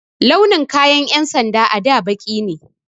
Launin kayan 'yan sanda a da baƙi ne.